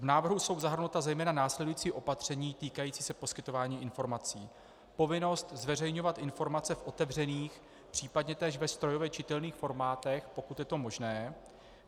V návrhu jsou zahrnuta zejména následující opatření týkající se poskytování informací: povinnost zveřejňovat informace v otevřených, případně též ve strojově čitelných formátech, pokud je to možné.